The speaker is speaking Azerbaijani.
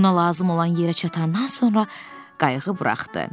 Ona lazım olan yerə çatandan sonra qayığı buraxdı.